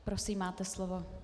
Prosím, máte slovo.